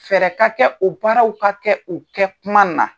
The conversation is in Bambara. Fɛɛrɛ ka kɛ o baaraw ka kɛ U kɛ kuma na.